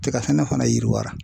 Tigasɛnɛ fana yiriwara.